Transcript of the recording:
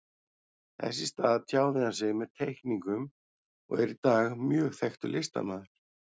Þess í stað tjáði hann sig með teikningum og er í dag mjög þekktur listamaður.